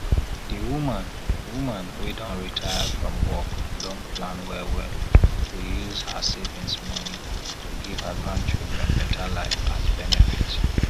di woman woman wey don retire from work don plan well well to use her savings money to give her grandchildren better life as benefit